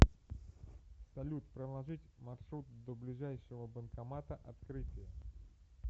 салют проложить маршрут до ближайшего банкомата открытие